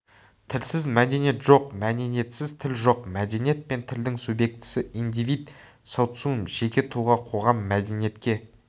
тілсіз мәдениет жоқ мәдениетсіз тіл жоқ мәдениет пен тілдің субъектісі индивид социум жеке тұлға қоғам мәдениетке